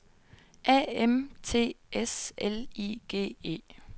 A M T S L I G E